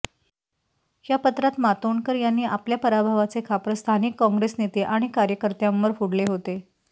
या पत्रात मातोंडकर यांनी आपल्या पराभवाचे खापर स्थानिक काँग्रेस नेते आणि कार्यकर्त्यांवर फोडले होते